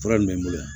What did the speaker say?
Fura min bɛ n bolo yan